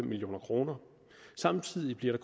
million kroner samtidig bliver